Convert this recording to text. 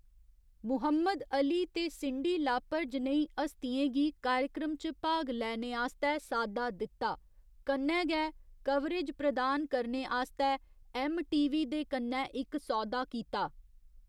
Muhammad Ali ते Cyndi Lauper जनेही हस्तियें गी कार्यक्रम च भाग लैने आस्तै साद्दा दित्ता, कन्नै गै कवरेज प्रदान करने आस्तै ऐम्मटीवी दे कन्नै इक सौदा कीता।